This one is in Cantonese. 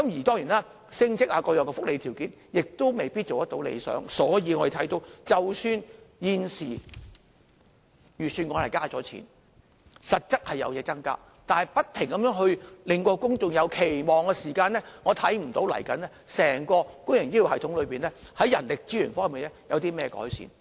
當然，升職等各樣福利條件也未必達到理想，所以我們可以看到，即使現時預算案增加撥款，實質有所增加，但不停加強公眾的期望，我看不到未來整個公營醫療系統在人力資源方面有任何改善。